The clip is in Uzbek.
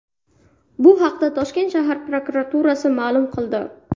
Bu haqda Toshkent shahar prokuraturasi ma’lum qildi .